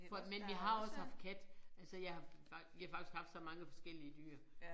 For at mænd vi har også haft kat altså jeg har vi har faktisk haft så mange forskellige dyr